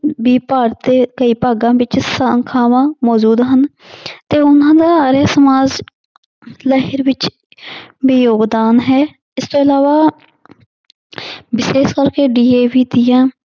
ਦੇ ਕਈ ਭਾਗਾਂ ਵਿੱਚ ਸਾਖਾਵਾਂ ਮੌਜੂਦ ਹਨ ਤੇ ਉਹਨਾਂ ਦਾ ਆਰੀਆ ਸਮਾਜ ਲਹਿਰ ਵਿੱਚ ਵੀ ਯੋਗਦਾਨ ਹੈ ਇਸ ਤੋਂ ਇਲਾਵਾ ਵਿਸ਼ੇਸ਼ ਕਰਕੇ DAV